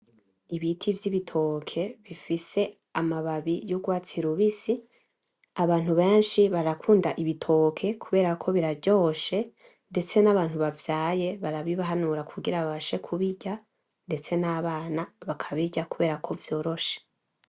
Ibiti vy'ibitoke bifise amababi y'urwatsi rubisi. Abantu benshi barakunda ibitoke kuberako biraryoshe, ndetse n'abantu bavyaye barabibahanura kugira ngo babashe kubirya, ndetse n'abana bakabirya kuberako vyoroshe.